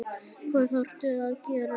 Hvað þarftu að gera?